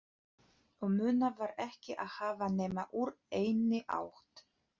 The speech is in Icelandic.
Og munað var ekki að hafa nema úr einni átt